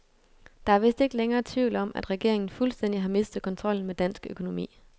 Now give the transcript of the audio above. Der er vist ikke længere tvivl om, at regeringen fuldstændig har mistet kontrollen med dansk økonomi.